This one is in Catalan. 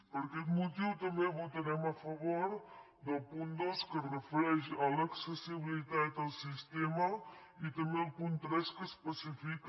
per aquest motiu també votarem a favor del punt dos que es refereix a l’accessibilitat al sistema i també el punt tres que especifica